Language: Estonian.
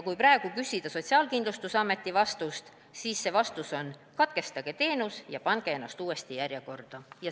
Kui praegu küsida Sotsiaalkindlustusameti vastust, siis see vastus on: katkestage teenus ja pange ennast uuesti järjekorda.